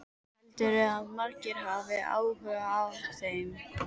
Heldurðu að margir hafi áhuga á þeim?